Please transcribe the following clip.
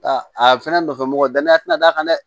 A a fɛnɛ nɔfɛ mɔgɔ danaya tɛna d'a kan dɛ